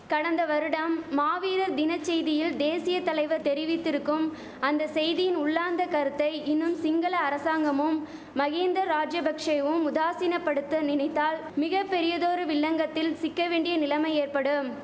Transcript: கடந்த வருடம் மாவீரர் தினச் செய்தியில் தேசிய தலைவர் தெரிவித்திருக்கும் அந்த செய்தியின் உள்ளார்ந்த கருத்தை இன்னும் சிங்கள அரசாங்கமும் மகிந்த ராஜபக்ஷைவும் உதாசீனபடுத்த நினைத்தால் மிக பெரியதொரு வில்லங்கத்தில் சிக்க வேண்டிய நிலமை ஏற்படும்